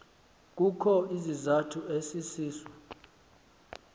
kukho isizathu esisiso